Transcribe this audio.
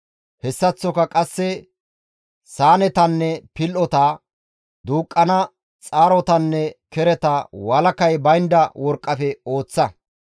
Hessaththoka qasse saanetanne pil7ota, duuqqana xaarotanne kereta walakay baynda worqqafe ooththa.